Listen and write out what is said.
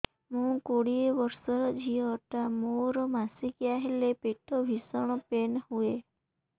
ମୁ କୋଡ଼ିଏ ବର୍ଷର ଝିଅ ଟା ମୋର ମାସିକିଆ ହେଲେ ପେଟ ଭୀଷଣ ପେନ ହୁଏ